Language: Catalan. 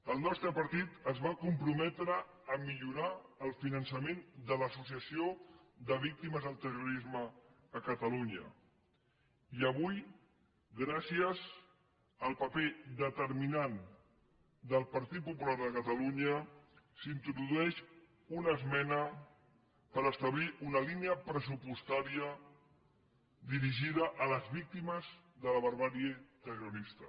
el nostre partit es va comprometre a millorar el finançament de l’associació de víctimes del terrorisme a catalunya i avui gràcies al paper determinant del partit popular de catalunya s’introdueix una esmena per establir una línia pressupostària dirigida a les víctimes de la barbàrie terrorista